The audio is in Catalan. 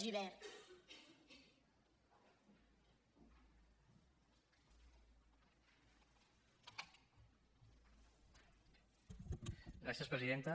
gràcies presidenta